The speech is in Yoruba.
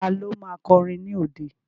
Ta ló ma kọrin ní òde?